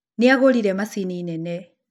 Nĩ agũrire macini nene.